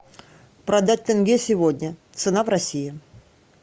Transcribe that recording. продать тенге сегодня цена в россии